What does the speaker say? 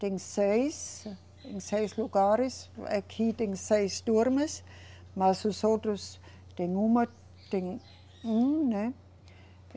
Tem seis, seis lugares, aqui tem seis turmas, mas os outros, tem uma, tem um, né?